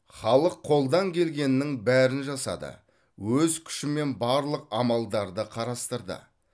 халық қолдан келгеннің бәрін жасады өз күшімен барлық амалдарды қарастырды